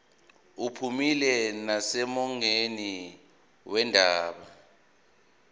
uphumile nasemongweni wendaba